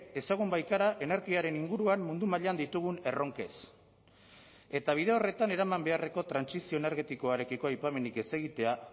ezagun baikara energiaren inguruan mundu mailan ditugun erronkez eta bide horretan eraman beharreko trantsizio energetikoarekiko aipamenik ez egitea